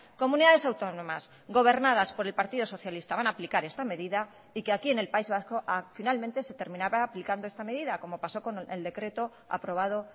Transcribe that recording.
comunidades autónomas gobernadas por el partido socialista van a aplicar esta medida y que aquí en el país vasco finalmente se terminaba aplicando esta medida como pasó con el decreto aprobado